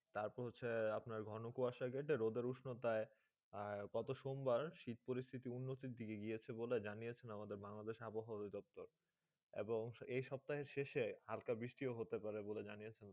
তার পর আপনার হচ্ছে ঘন কুয়াসা রোদ্র উষ্ণ গত সম্ভার শীত পরিশিথি উন্নত দিকে গেছে বলে আমাদের বাংলাদেশ আবহাওয়ার অভিযোক্ত এবং এই সবতাঃ শেষে হালকা বৃষ্টি হতে পাৰে বলে জানিয়েছেন